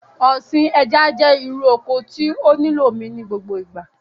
Ọ̀sìn ẹja jẹ́ irú oko tí ó nílò omi ní gbogbo ìgbà